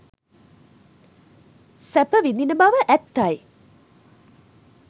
සැප විඳින බව ඇත්තයි.